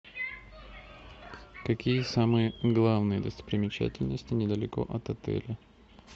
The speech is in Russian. какие самые главные достопримечательности недалеко от отеля